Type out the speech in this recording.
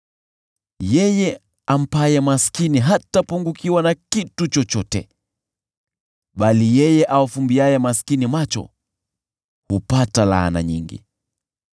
Yeye ampaye maskini hatapungukiwa na kitu chochote, bali yeye awafumbiaye maskini macho hupata laana nyingi.